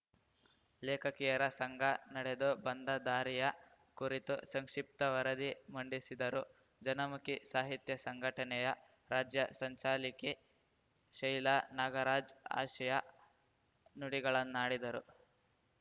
ಲೇಖಕಿಯರ ಸಂಘ ನಡೆದು ಬಂದ ದಾರಿಯ ಕುರಿತು ಸಂಕ್ಷಿಪ್ತ ವರದಿ ಮಂಡಿಸಿದರು ಜನಮುಖಿ ಸಾಹಿತ್ಯ ಸಂಘಟನೆಯ ರಾಜ್ಯ ಸಂಚಾಲಕಿ ಶೈಲಾ ನಾಗರಾಜ್ ಆಶಯ ನುಡಿಗಳನ್ನಾಡಿದರು